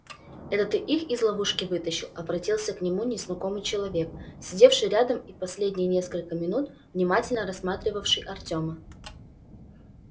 это ты их из ловушки вытащил обратился к нему незнакомый человек сидевший рядом и последние несколько минут внимательно рассматривавший артёма